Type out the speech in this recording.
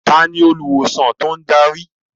Ta ni olùwòsàn tó ń darí?